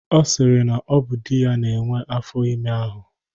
Ọ sịrị na ọ bụ di ya nwee afọ ime ahụ.